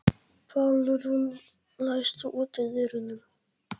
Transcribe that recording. Pálrún, læstu útidyrunum.